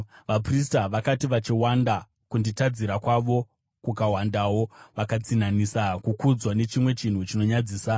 Vaprista vakati vachiwanda, kunditadzira kwavo kukawandawo; vakatsinhanisa kukudzwa nechimwe chinhu chinonyadzisa.